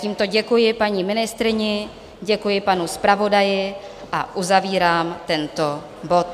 Tímto děkuji paní ministryni, děkuji panu zpravodaji a uzavírám tento bod.